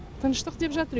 тыныштық деп жатыр